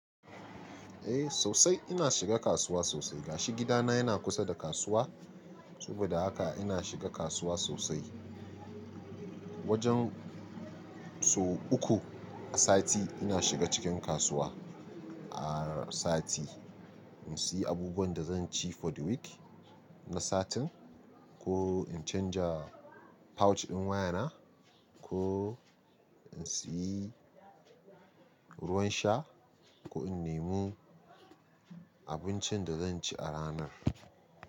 Eh, sosai ina shiga kasuwa sosai. Gashi gidana yana kusa da kasuwa. Saboda haka ina shiga kasuwa sosai. Wajen so uku a sati ina shiga cikin kasuwa a sati in siys abubuwanda zanci for the week na satin. Ko in canja pouch ɗin wayana, ko in siyi ruwan sha ko in nemo abincinda zanci a ranar.